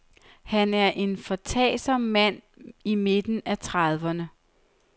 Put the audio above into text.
Han er en foretagsom mand i midten af trediverne.